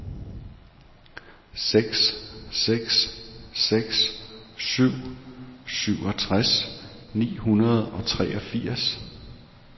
seks seks seks syv syvogtres ni hundrede og treogfirs